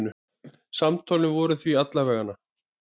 Samtölin voru því alla vega.